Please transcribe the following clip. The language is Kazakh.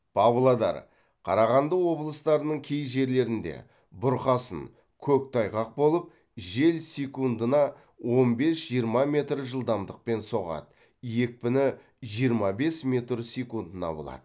павлодар қарағанды облыстарының кей жерлерінде бұрқасын көктайғақ болып жел секундына он бес жиырма метр жылдамдықпен соғады екпіні жиыма бес метр секундына болады